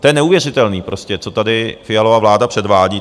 To je neuvěřitelné prostě, co tady Fialova vláda předvádí!